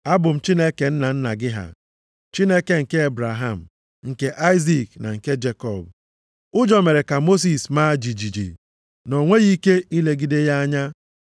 ‘Abụ m Chineke nna nna gị ha. Chineke nke Ebraham, nke Aịzik na nke Jekọb.’ + 7:32 \+xt Ọpụ 3:6\+xt* Ụjọ mere ka Mosis maa jijiji, na o nweghị ike ilegide ya anya.